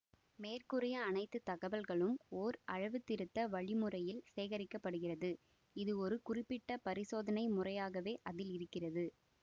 மேற்கூறிய அனைத்து தகவல்களும் ஓர் அளவுத்திருத்த வழிமுறையில் சேகரிக்கப்படுகிறது இதுவொரு குறிப்பிட்ட பரிசோதனை முறையாகவே அதில் இருக்கிறது